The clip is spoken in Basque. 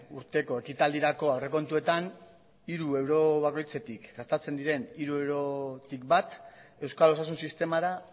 urteko ekitaldirako aurrekontuetan hiru euro bakoitzetik gastatzen diren hiru eurotik bat euskal osasun sistemara